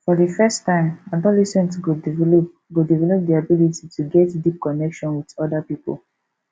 for di first time adolescent go develop go develop their ability to get deep connection with oda pipo